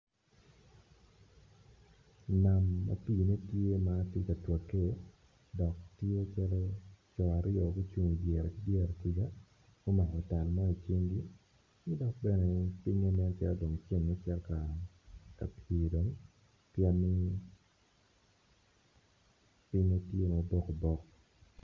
Nam ma pine tye tye katwake dok tye calo coo aryo gucung dyere dyere kuca gumako tal mo i cingi